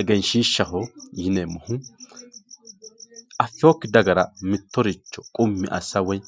Egenshiishaho yineemmohu affinokki dagara mittoricho qummi assa woyi